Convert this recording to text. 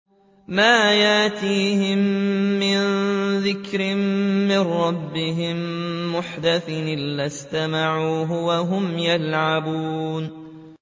مَا يَأْتِيهِم مِّن ذِكْرٍ مِّن رَّبِّهِم مُّحْدَثٍ إِلَّا اسْتَمَعُوهُ وَهُمْ يَلْعَبُونَ